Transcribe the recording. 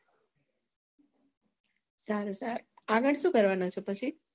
સારું આગળ શું કરવાનું છે પછી